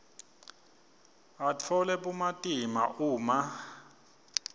atfole bumatima uma